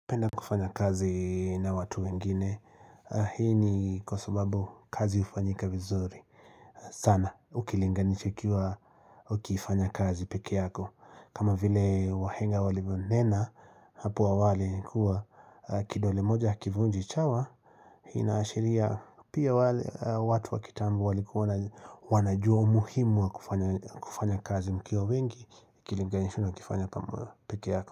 Napenda kufanya kazi na watu wengine, hii ni kwa sababu kazi hufanyika vizuri. Sana, ukilinganisha ikiwa ukifanya kazi peke yako. Kama vile wahenga walivyonena, hapo awali ni kuwa kidole moja hakivunji chawa, inaashiria pia watu wa kitambo walikuwa wanajua umuhimu wa kufanya kazi mkiwa wengi, ukilinganisha na ukifanya peke yako.